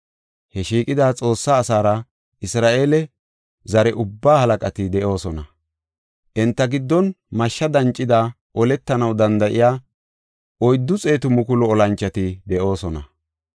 He shiiqida Xoossaa asaara, Isra7eele zare ubbaa halaqati de7oosona. Enta giddon mashshe dancidi oletanaw danda7iya 400,000 olanchoti de7oosona.